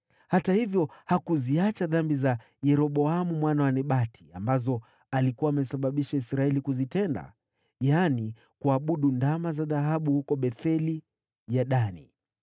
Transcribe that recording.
Hata hivyo, Yehu hakuziacha dhambi za Yeroboamu mwana wa Nebati, ambazo alikuwa amesababisha Israeli kuzitenda, yaani kuabudu ndama za dhahabu huko Betheli ya Dani.